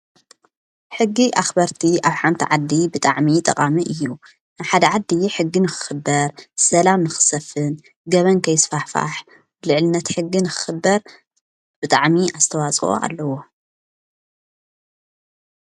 ሕጊ ኣኽበርቲ ኣብ ሓንቲ ዓዲ ብጣዕሚ ጠቓሚ እዩ ሓድ ዓድ ሕጊ ንክኽበር ሰላም ንኽሰፍን ገበን ከይስፋሕፋሕ ልዕልነት ሕጊ ንክኽበር ብጥዕሚ ኣስተዋፅ ኣለዎ።